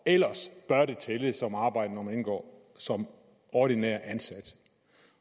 ellers bør det tælle som arbejde når man indgår som ordinær ansat